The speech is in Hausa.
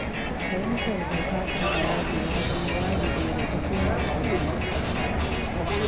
Fahimtar doka kan haraji ya zama wajibi ga duk wani ma'aikaci.